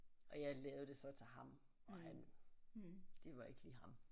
Og jeg lavede det så til ham og han det var ikke lige ham